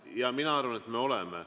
Jaa, mina arvan, et me oleme.